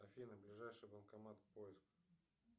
афина ближайший банкомат поиск